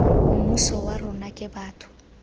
mmuso wa rona ke batho